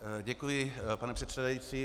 Děkuji, pane předsedající.